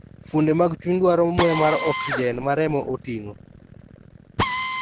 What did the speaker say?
Fuonde mag chuny dwaro muya mar oxygen ma remo oting'o.